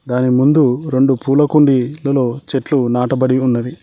దాని ముందు రొండు పూల కుండిలలో చెట్లు నాటబడి ఉన్నది.